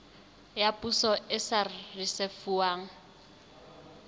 ya poso e sa risefuwang